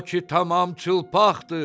O ki tamam çılpaqdır!